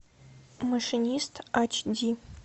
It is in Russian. машинист ач ди